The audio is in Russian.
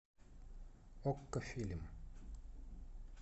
окко фильм